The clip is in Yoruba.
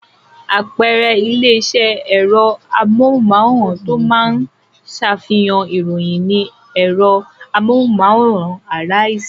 Àpẹẹrẹ ilé-iṣẹ́ ẹ̀rọ amóhùmáwòhán tó máa ń ṣàfihàn ìròyìn ni ẹ̀rọ amóhùmáwòhán Arise.